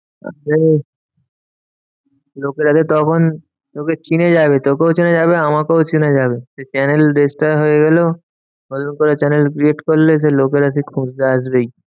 লোকের হাতে তখন তোকে চিনে যাবে। তোকেও চিনে যাবে আমাকেও চিনে যাবে। সে channel destroy হয়ে গেলেও নতুন করে channel create করলে সেই লোকেরা সেই খুঁজতে আসবেই।